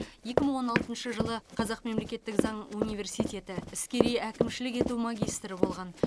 екі мың он алтыншы жылы қазақ мемлекеттік заң университеті іскери әкімшілік ету магистрі болған